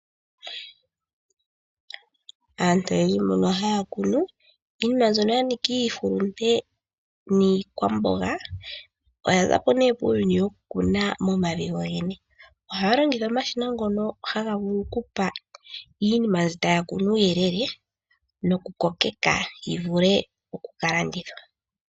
Aantu mboka haya kunu iinima mbyoka yanika iihulunde oyaza po poku kuna momavi gogene nohaya longitha omashina